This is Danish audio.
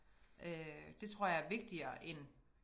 Øh det tror jeg er vigtigere end